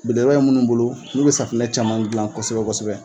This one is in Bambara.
Belebeleba bɛ minnu bolo n'o bɛ safinɛ caman dilan kosɛbɛ kosɛbɛ